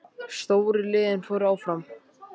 Stóru liðin fóru áfram